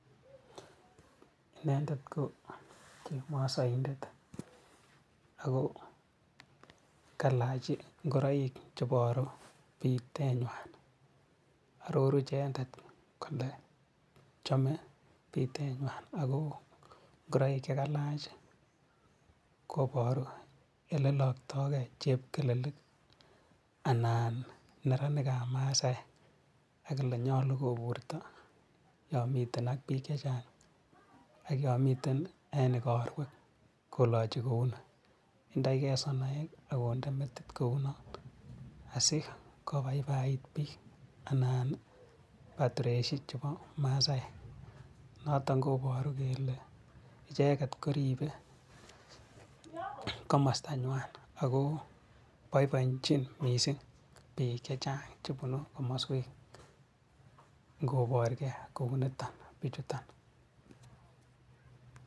Inendet ko chemosoindet ako kailach ingoroik cheboru biteenywan, ororuu icheket kole chomee biteenywan ako ngoroik chekailach koboru eleloktokee chepkelelik anan neranikab masaek ak elenyolu koburto yon miten ak biik chechang ak yon miten en ikorwek koloche kouni, indoikee sonoek akondee metit kounon asikobaibait biik anan dressit neboo masaek, noton koboru kelee icheket koribe komostanywan akoo boiboenchin mising biik chechang chebunu komoswek ngoborkee kouniton bichuton.